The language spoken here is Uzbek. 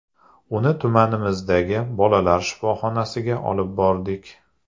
Uni tumanimizdagi bolalar shifoxonasiga olib bordik.